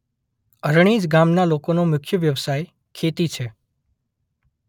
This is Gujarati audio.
અરણેજ ગામના લોકોનો મુખ્ય વ્યવસાય ખેતી છે.